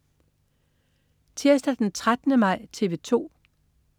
Tirsdag den 13. maj - TV 2: